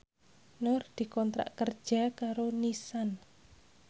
Nur dikontrak kerja karo Nissan